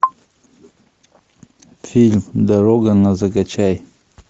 фильм дорога на закачай